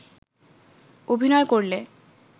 অভিনয় করলে